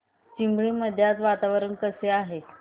चिंबळी मध्ये आज वातावरण कसे आहे